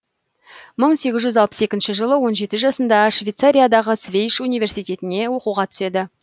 мың сегіз жүз алпыс екінші жылы он жеті жасында шветцариядағы свейш университетіне оқуға түседі